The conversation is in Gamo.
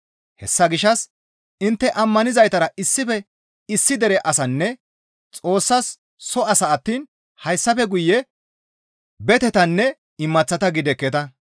Hessa gishshas intte ammanizaytara issife issi dere asanne Xoossas soo asa attiin hayssafe guye betetanne imaththata gidekketa.